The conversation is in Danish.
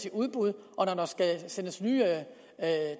i udbud når der skal sendes nye